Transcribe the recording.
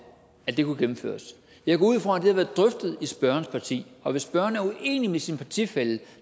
at det kunne gennemføres jeg går ud fra at det har været drøftet i spørgerens parti og hvis spørgeren er uenig med sin partifælle